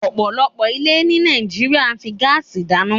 ọ̀pọ̀lọpọ̀ ilé ní Nàìjíríà fi ń gáásì dáná.